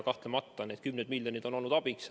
Kahtlemata on need kümned miljonid olnud abiks.